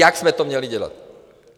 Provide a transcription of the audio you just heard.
Jak jsme to měli dělat?